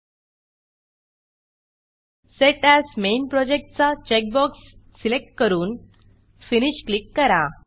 set AS main Projectसेट S main project चा checkbox select करून फिनिश फिनिश क्लिक करा